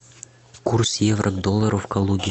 курс евро к доллару в калуге